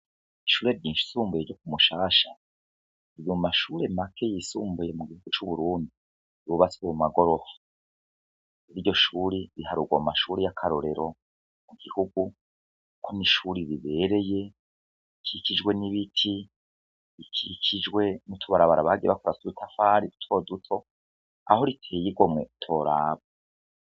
Ishure ryisumbuye ryo ku mushasha riri mu mashure make y'isumbuye mu gihugu cu Burundi yubatswe mu magorofa, iryo shure riharurwa mu mashure y'akarorero mu gihugu, kuko n'ishure rikikijwe n'ibiti, rikijwe n'utubarabara bagiye bakora tw'udutafari duto duto, aho riteye igomwe utoraba.